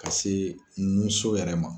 Ka se nun so yɛrɛ ma.